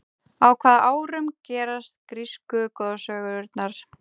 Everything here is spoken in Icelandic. á hvaða árum gerast grísku goðsögurnar